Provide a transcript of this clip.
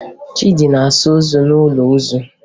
Chidi na-asa ozu n'ụlọ ozu